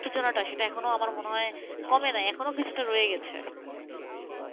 উত্তেজনাটা সেটা এখনো আমার মনে হয় কমে নাই এখনো কিছুটা রয়ে গেছে,